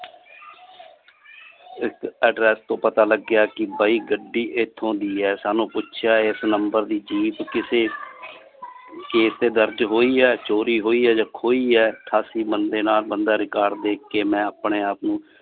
ਇਕ address ਤੋਂ ਪਤਾ ਲਗਿਆ ਕਿ ਬਾਈ ਗੱਡੀ ਇਥੋਂ ਦੀ ਹੈ ਸਾਨੂੰ ਪੁੱਛਿਆ ਐਸ ਨੰਬਰ ਦੀ jeep ਕਿਸੇ case ਦਰਜ ਹੋਇ ਹੈ ਚੋਰੀ ਹੋਇ ਆ ਜਾ ਖੋਈ ਏ ਠਾਸੀ ਬੰਦੇ ਦਾ ਰਿਕਾਰਡ ਦੇਖ ਮੈਂ ਆਪਣੇ ਆਪ ਨੂੰ